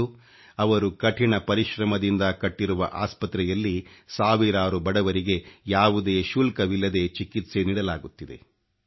ಇಂದು ಇವರು ಕಠಿಣ ಪರಿಶ್ರಮದಿಂದ ಕಟ್ಟಿರುವ ಆಸ್ಪತ್ರೆಯಲ್ಲಿ ಸಾವಿರಾರು ಬಡವರಿಗೆ ಯಾವುದೇ ಶುಲ್ಕವಿಲ್ಲದೆ ಚಿಕಿತ್ಸೆ ನೀಡಲಾಗುತ್ತಿದೆ